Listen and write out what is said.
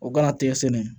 O kana tɛgɛ sɛnɛ